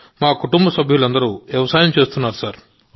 మా కుటుంబసభ్యులందరూ వ్యవసాయం చేస్తారు